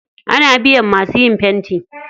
Ana biyan masu yin fenti.